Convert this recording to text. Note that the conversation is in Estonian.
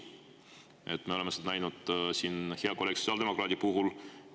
Näiteks me oleme seda näinud siin hea kolleegi sotsiaaldemokraadi puhul.